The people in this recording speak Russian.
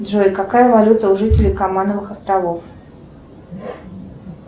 джой какая валюта у жителей каймановых островов